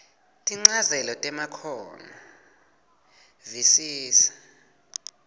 tinchazelo temakhono visisa